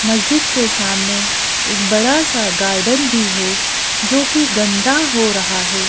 मस्जिद के सामने एक बड़ा सा गार्डन भी है जो कि गंदा हो रहा है।